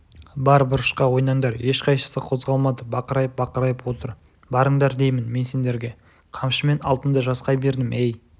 бар бұрышқа ойнаңдар ешқайсысы қозғалмады бақырайып-бақырайып отыр барыңдар деймін мен сендерге қамшымен алтынды жасқай бердім ей